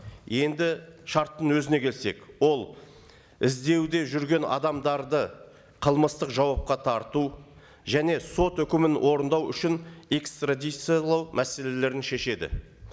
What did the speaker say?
енді шарттың өзіне келсек ол іздеуде жүрген адамдарды қылмыстық жауапқа тарту және сот үкімін орындау үшін экстрадициялау мәселелерін шешеді